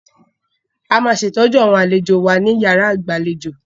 A máa ṣe ìtọ́jú àwọn àlejò wa ní yàrá ìgbàlejò.